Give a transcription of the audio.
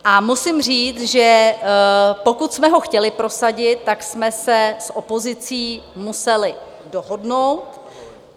A musím říct, že pokud jsme ho chtěli prosadit, tak jsme se s opozicí museli dohodnout.